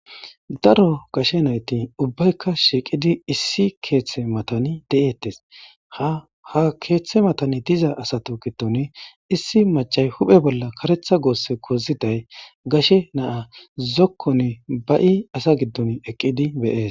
Daro gashe nayti ubbaykka shiiqidi issi keeththe matani de7ettes ha ha keeththe matani diza asato kitoni issi machay huphe bolla karetha goosse koziday gashe naa zokkoni ba7i asa giddon eqqidi beyes.